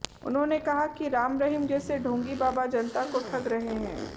उन्होंने कहा कि राम रहीम जैसे ढोंगी बाबा जनता को ठग रहे हैं